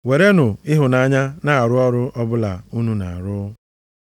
Werenụ ịhụnanya na-arụ ọrụ ọbụla unu na-arụ.